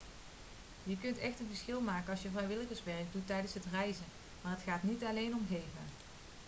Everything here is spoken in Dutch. je kunt echt een verschil maken als je vrijwilligerswerk doet tijdens het reizen maar het gaat niet alleen om geven